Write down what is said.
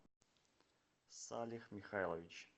салех михайлович